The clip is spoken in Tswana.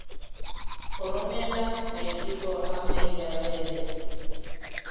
go romela maiteko a maikarebelo